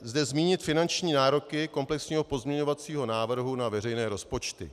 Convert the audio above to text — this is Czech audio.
zde zmínit finanční nároky komplexního pozměňovacího návrhu na veřejné rozpočty.